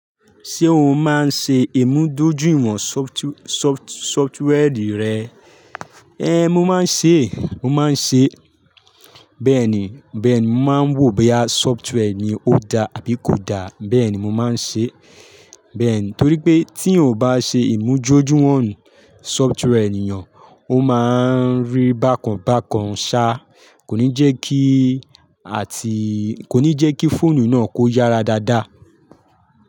Ṣé o máa ń ṣe ìmúdójúìwọ̀n sọfuti- sọfuti- sọftiwẹẹrì rẹ? Ée, mo máa ń ṣe, mo máa ń ṣe. Bẹ́ẹ̀ni, bẹ́ẹ̀ni, mo máa ń wò boya sọftware ni ó da àbí kò da. Bẹ́ẹ̀ni, mo máa ń ṣe. Bẹ́ẹ̀ni, torí pé tí o ò bá ṣe ìmúdójúìwọ̀n software ènìyàn, ó máa ń rí bákan bákan ṣá. Kò ní jẹ́ kí àti-- kò ní jẹ́ kí fóònù náà kó yára dáadáa.